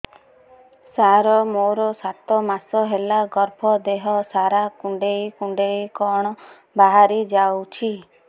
ସାର ମୋର ସାତ ମାସ ହେଲା ଗର୍ଭ ଦେହ ସାରା କୁଂଡେଇ କୁଂଡେଇ କଣ ବାହାରି ଯାଉଛି